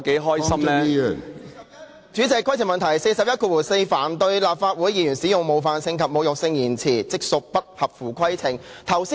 根據《議事規則》第414條，凡對立法會議員使用冒犯性及侮辱性言詞，即屬不合乎規程。